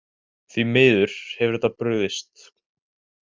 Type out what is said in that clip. Því miður hefur þetta brugðist.